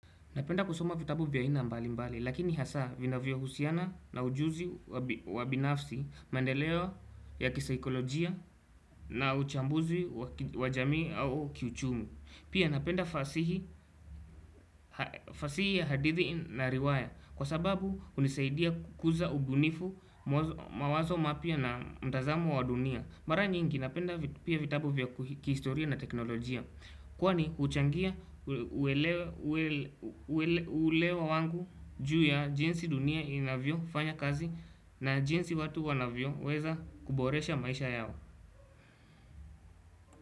Napenda kusoma vitabu vya aina mbali mbali, lakini hasa vinavyohusiana na ujuzi wa binafsi mandeleo ya kisaikolojia na uchambuzi wa jamii au kiuchumi Pia napenda fasihi ya hadithi na riwaya kwa sababu hunisaidia kukuza ubunifu mawazo mapya na mtazamo wa dunia. Mara nyingi napenda pia vitabu vya kihistoria na teknolojia Kwani huchangia uelewa wangu juu ya jinsi dunia inavyofanya kazi na jinsi watu wanavyoweza kuboresha maisha yao.